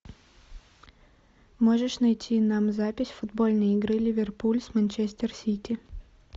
можешь найти нам запись футбольной игры ливерпуль с манчестер сити